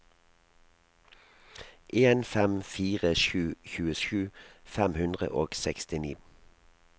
en fem fire sju tjuesju fem hundre og sekstini